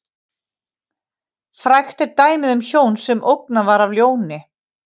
Frægt er dæmið um hjón sem ógnað var af ljóni.